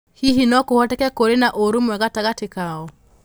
Hihi no kũhoteke kũrĩ na ũrũmwe gatagatĩ kao?